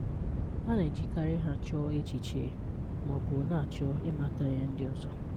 A na-èjíkàrị́ ha chọ̀ọ̀ echichè ma ọ̀ bụ̀ na-áchọ̀ ị́màtà ihè ndị̀ ọzọ.